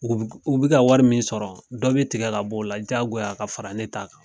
U bika wari min sɔrɔ dɔ bɛ tigɛ ka b'o la jagoya ka fara ne t'a kan.